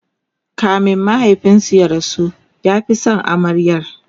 kamin mahaifinsu ya rasu ya Fi San amaryar